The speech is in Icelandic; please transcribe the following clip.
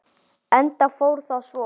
Enda fór það svo.